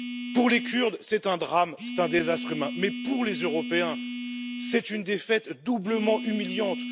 Pour les Kurdes, c'est un drame, c'est un désastre humain, mais pour les Européens, c'est une défaite doublement humiliante.